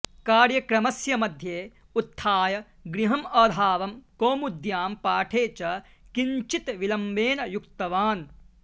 कार्यक्रमस्य मध्ये उत्थाय गृहं अधावं कौमुद्यां पाठे च किन्ञ्चित् विलम्बेन युक्तवान्